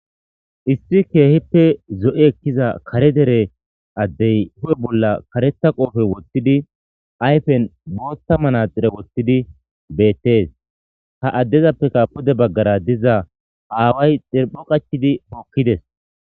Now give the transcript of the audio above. Issi keehippe zo7i ekkiza kare dere addee huuphe bolla kareththa qophe woththidi ayfen booththa manatsire woththidi beeththees;ha addezapeka pude baggara diza aaway deezo qaththidi hokki des.